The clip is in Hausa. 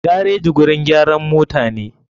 Gareji gurin gyaran motane.